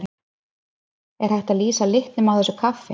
Er hægt að lýsa litnum á þessu kaffi?